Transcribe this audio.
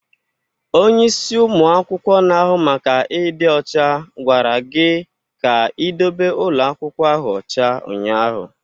Onye isi ụmụ akwụkwọ na-ahụ maka ịdị ọcha gwara gị ka ị dobe ụlọ akwụkwọ ahụ ọcha ụnyaahụ!